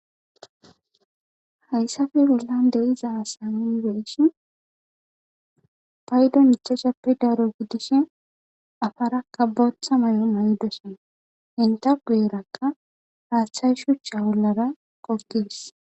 Hayssappe bollan diza asa nuni be'ishin paydon ichchashshappe daro gidishin afarakka booththa mayo mayidosona. Enta guyerakka haaththay shuchcha bollara gogges.